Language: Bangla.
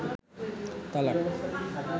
তালাক